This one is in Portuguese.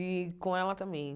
E com ela também.